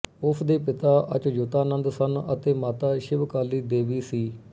ਉਸ ਦੇ ਪਿਤਾ ਅਚਯੁਤਾਨੰਦ ਸਨ ਅਤੇ ਮਾਤਾ ਸ਼ਿਵ ਕਾਲੀ ਦੇਵੀ ਸੀ